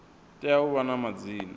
tea u vha na madzina